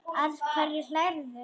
Að hverju hlærðu?